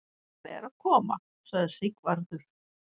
Hann er að koma, sagði Sigvarður.